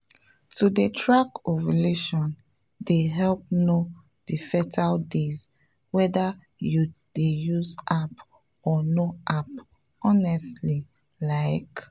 to dey track ovulation dey help know the fertile days whether you dey use app or no app honestly like.